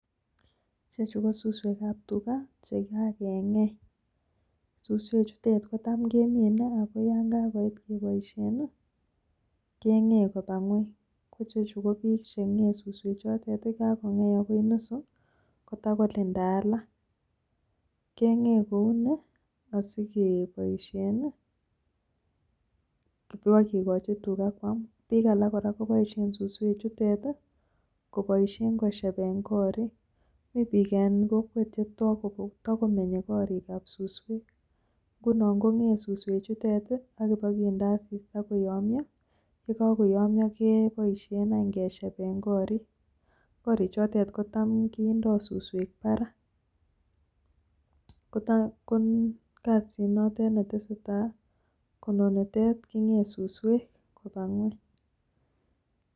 ichechu kosusweek ab tuga chegagengei, susweek chuton kotam keminee ago yaan kagoit keboishen iih kengei kobaa ngweeny, ko ichechu kokigengei susweek chotet iih kagongei ago nusu kotagolinda alak, kengee kounii asigeboishen iiih bogigichi tuga kwaam, biik alakkoboishen susweek chuteet iih koboishen koshebeen koorik, mii biik en kokweet chetagomenye koriik ab susweek ngunon kongee susweek chutet iih ak boginde asista koyomyoo, ye gagoyomyoo keboishen anyy keshebeen koriik, koriik chotet kotam kindoo susweek barak, ko kasiit notet nontesetai konogeer kogagingei susweek kobaa ngweny.